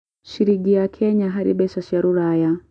cĩrĩngĩ ya Kenya harĩ mbeca cia rũraya